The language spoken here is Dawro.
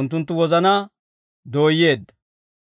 unttunttu wozanaa dooyyeedda.